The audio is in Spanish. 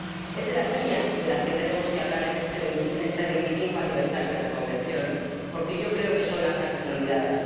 Es de las niñas de las que tenemos que hablar en este vigesimoquinto aniversario de la Convención, porque yo creo que son las grandes olvidadas.